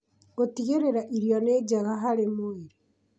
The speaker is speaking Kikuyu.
Gũtigĩrĩra Irio nĩ njega harĩ mwĩrĩ